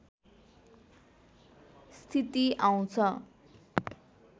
स्थिति आउँछ